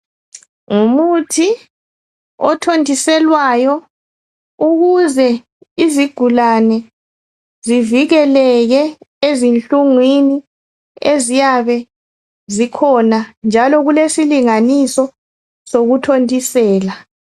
Ngumuthi othontiselwayo ukuze izigulane zivikeleke ezihlungwini eziyabe zikhona, njalo kulesilinganiso sokuthontisela.